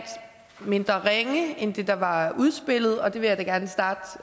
mindre ringe end det der var udspillet og det vil jeg da gerne starte